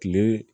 Kile